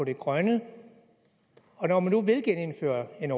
det grønne når man nu vil genindføre en